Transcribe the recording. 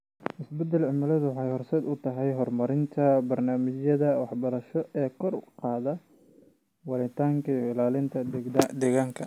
Isbeddelka cimiladu waxay horseed u tahay horumarinta barnaamijyada waxbarasho ee kor u qaadaya waaritaanka iyo ilaalinta deegaanka.